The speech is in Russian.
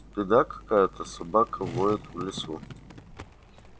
беда какая-то собака воет в лесу